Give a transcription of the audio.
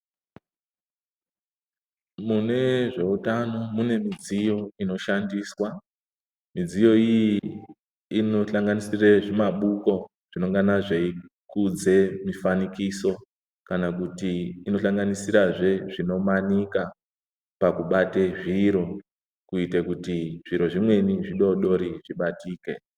Mune zveutano, mune midziyo ino shandiswa. Midziyo iyi ino hlanganisire zvimabuko, zvinongana zvei kudze mifanikiso kana kuti ino hlanganisirazve zvino manika pakubate zviro kuite kuti zviro zvimweni zvidoodori zvibatike.